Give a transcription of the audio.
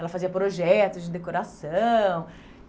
Ela fazia projetos de decoração.